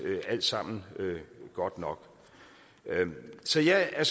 alt sammen godt nok så jeg er